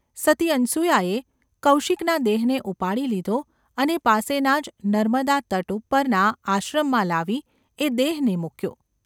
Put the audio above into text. સતી અનસૂયાએ કૌશિકના દેહને ઉપાડી લીધો અને પાસેના જ નર્મદાતટ ઉપરના આશ્રમમાં લાવી એ દેહને મૂક્યો.